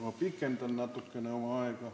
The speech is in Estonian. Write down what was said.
Ma pikendan natukene oma aega.